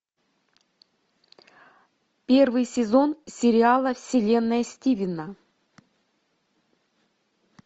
первый сезон сериала вселенная стивена